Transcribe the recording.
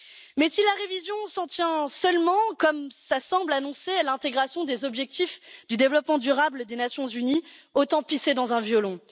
Mais si la révision s'en tient seulement comme cela semble s'annoncer à l'intégration des objectifs de développement durable des Nations unies, autant pisser dans un violon.